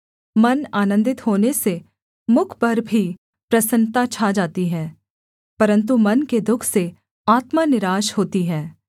मन आनन्दित होने से मुख पर भी प्रसन्नता छा जाती है परन्तु मन के दुःख से आत्मा निराश होती है